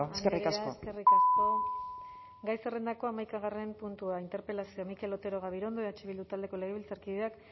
empleo eskerrik asko eskerrik asko mendia andrea eskerrik asko gai zerrendako hamaikagarren puntua interpelazioa mikel otero gabirondo eh bildu taldeko legebiltzarkideak